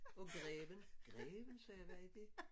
Og greven. Greven sagde jeg hvad er det?